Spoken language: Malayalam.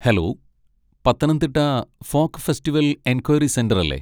Hello, Pathanamthitta folk festival enquiry centre അല്ലേ?